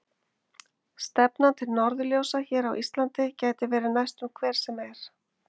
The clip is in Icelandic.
Stefnan til norðurljósa hér á Íslandi getur verið næstum hver sem er.